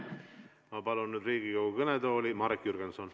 Ma palun nüüd Riigikogu kõnetooli Marek Jürgensoni.